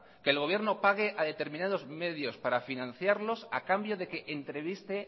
que el gobierno pague a determinados medios para financiarlos a cambio de que